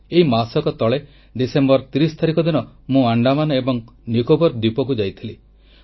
ଏଇ ମାସକ ତଳେ ଡିସେମ୍ବର 30 ତାରିଖ ଦିନ ମୁଁ ଆଣ୍ଡାମାନ ଏବଂ ନିକୋବର ଦ୍ୱୀପକୁ ଯାଇଥିଲି